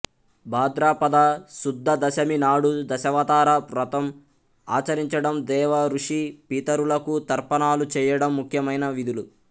భాద్రపద శుద్ద దశమి నాడు దశావతార వ్రతం ఆచరించడం దేవ ఋషి పితరులకు తర్పణాలు చేయడం ముఖ్యమైన విధులు